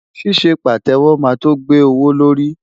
Ṣíṣe Pàtẹ́wọ́ máa tó gbé owó lórí.